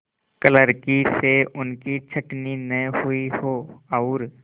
क्लर्की से उनकी छँटनी न हुई हो और